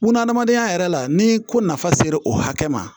Bunahadamadenya yɛrɛ la ni ko nafa sera o hakɛ ma